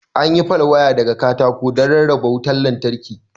An yi pal waya daga katako don rarraba wutar lantarki.